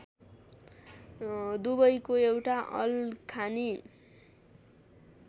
दुबईको एउटा अल्खानि